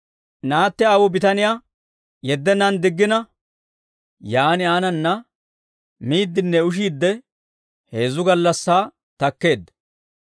Naatti aawuu bitaniyaa yeddennaan diggina, yaan aananna miiddinne ushiidde heezzu gallassaa takkeedda.